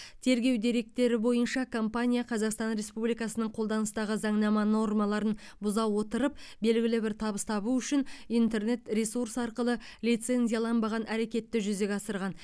тергеу деректері бойынша компания қазақстан республикасының қолданыстағы заңнама нормаларын бұза отырып белгілі бір табыс табу үшін интернет ресурс арқылы лицензияланбаған әрекетті жүзеге асырған